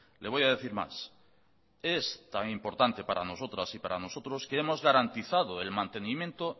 le voy a decir más es tan importante para nosotras y para nosotros que hemos garantizado el mantenimiento